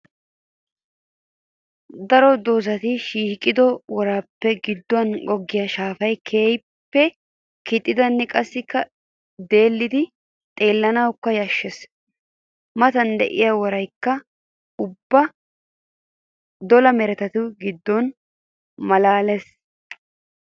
Daro doozatti shiiqiddo worappe giduwan goggiya shaafay keehippe kixxiddinne qassikka deelliddi xeellinkka yashees. Matan de'iya woraykka ubba dolla meretattu gidon malaales.